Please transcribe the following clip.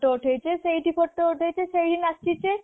photo ଉଠେଇଚେ ସେଇଠି photo ଉଠେଇଚେ ସେଇ ନାଚିଚେ